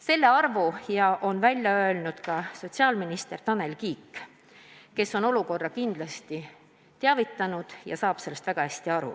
Selle arvu on välja öelnud ka sotsiaalminister Tanel Kiik, kes on olukorrast kindlasti teadlik ja saab sellest väga hästi aru.